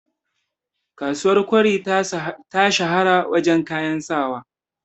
kasuwar kwari ta shahara wajen kayan sawa